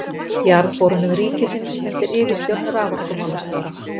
Jarðborunum ríkisins undir yfirstjórn raforkumálastjóra.